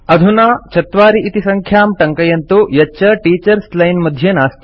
अधुना 4 इति सङ्ख्यां टङ्कयन्तु यच्च टीचर्स् लाइन् मध्ये नास्ति